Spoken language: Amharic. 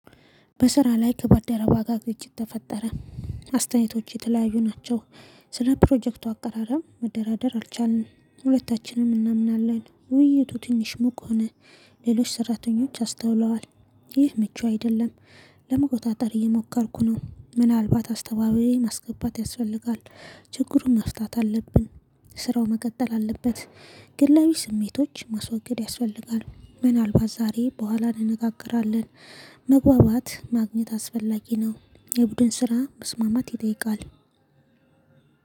በስራ ላይ ከባልደረባ ጋር ግጭት ተፈጠረ። አስተያየቶች የተለያዩ ናቸው። ስለ ፕሮጀክቱ አቀራረብ መደራደር አልቻልንም። ሁለታችንም እናምናለን ውይይቱ ትንሽ ሙቅ ሆነ። ሌሎች ሰራተኞች አስተውለዋል። ይህ ምቹ አይደለም። ለመቆጣጠር እየሞከርኩ ነው ምናልባት አስተዋቢዬ ማስገባት ያስፈልጋል። ችግሩን መፍታት አለብን። ስራው መቀጠል አለበት። ግላዊ ስሜቶች ማስወገድ ያስፈልጋል። ምናልባት ዛሬ በኋላ እንነጋገራለን። መግባባት ማግኘት አስፈላጊ ነው። የቡድን ስራ መስማማት ይጠይቃል።